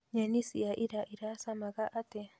Nyeni cia ira iracamaga atĩa?